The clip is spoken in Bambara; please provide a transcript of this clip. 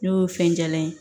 N'o ye fɛn jalan ye